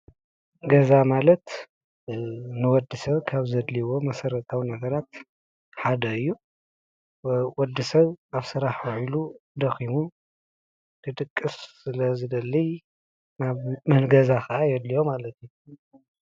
ገዛ ማለት ንወዲሰብ ካብ ዘደልይዎ መሰረታዊ ነገራት ሓደ እዩ። ወዲሰብ ኣብ ስራሕ ውዒሉ ደኺሙ ክድቅስ ስለዝደሊ ገዛ ከዓ የድልዮ ማለት እዩ።